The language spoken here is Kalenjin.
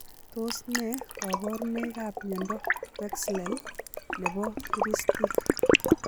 Tos ne kabarunoik ap miondoo pexlel nepo kiristiik ?